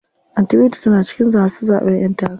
Anty binta tana cikin masu zaɓen ƴen takara.